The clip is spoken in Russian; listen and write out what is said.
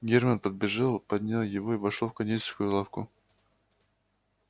германн подбежал поднял его и вошёл в кондитерскую лавку